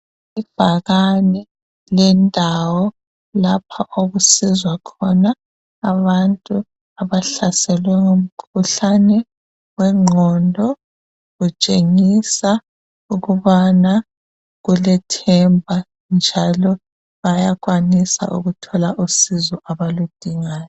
Ibhakane lendawo lapha okusizwa khona abantu abahlaselwe ngumkhuhlane wenqondo. Kutshengisa ukubana kulethemba njalo bayakwanisa ukuthola usizo abaludingayo.